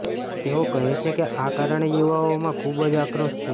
તેઓ કહે છે કે આ કારણે યુવાઓમાં ખૂબ આક્રોશ છે